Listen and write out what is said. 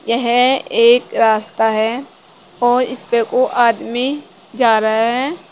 यह एक रास्ता है और इस पे वो आदमी जा रहे हैं।